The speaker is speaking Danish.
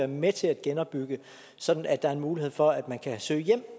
med til at genopbygge sådan at der er en mulighed for at man kan søge hjem